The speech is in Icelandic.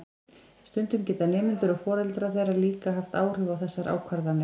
Stundum geta nemendur og foreldrar þeirra líka haft áhrif á þessar ákvarðanir.